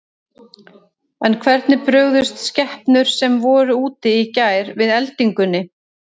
En hvernig brugðust skepnur sem voru úti í gær við eldingunni?